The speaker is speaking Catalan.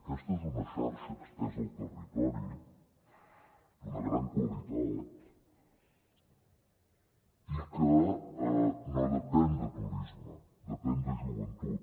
aquesta és una xarxa estesa al territori d’una gran qualitat i que no depèn de turisme depèn de joventut